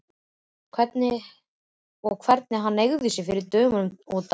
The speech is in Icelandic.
Og hvernig hann hneigði sig fyrir dömunum og dansaði!